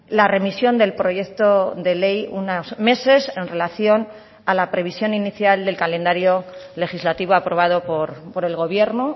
la remisión del proyecto de ley unos meses en relación a la previsión inicial del calendario legislativo aprobado por el gobierno